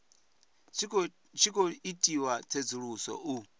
tshi khou itiwa tsedzuluso u